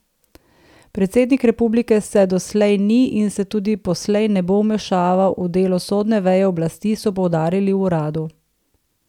Predsednik republike se doslej ni in se tudi poslej ne bo vmešaval v delo sodne veje oblasti, so poudarili v uradu.